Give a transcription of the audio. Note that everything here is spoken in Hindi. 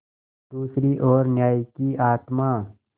दूसरी ओर न्याय की आत्मा